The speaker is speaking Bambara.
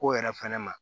Ko yɛrɛ fɛnɛ ma